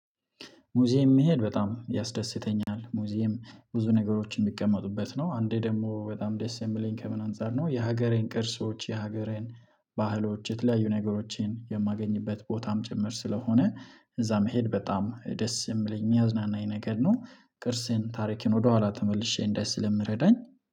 ሙዚየም መሄድ በጣም ያስደስተኛል ሙዚየም ብዙ ነገሮችን የሚቀመጡበት ነው። አንዴ ደግሞ በጣም ደስ የምለኝ ከምን አንፃር ነው? የሀገሬን ቅርሶች የሀገሬን ባህሎች የተለያዩ ነገሮችን የማገኝበት ቦታም ጭምር ስለሆነ እዛ መሄድ በጣም ደስ የምለኝ የሚያዝናናኝ ነገር ነው። ቅርስን ታሪክን ወደኋላ ተመልሼ እንዳይ ስለሚረዳኝ